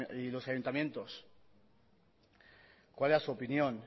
y los ayuntamientos cuál era su opinión